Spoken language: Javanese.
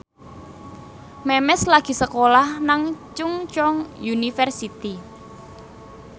Memes lagi sekolah nang Chungceong University